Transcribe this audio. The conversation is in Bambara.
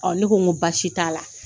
ne ko n ko baasi t'a la.